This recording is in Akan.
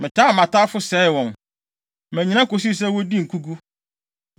“Metaa mʼatamfo sɛee wɔn; mannyina kosii sɛ wodii nkogu.